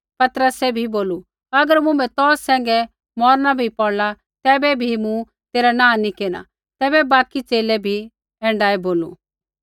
पतरसै भी बोलू अगर मुँभै तौ सैंघै मौरना बी पौड़ला तैबै बी मूँ तेरा नाँह नी केरना तैबै बाकि च़ेले बी ऐण्ढाऐ बोलू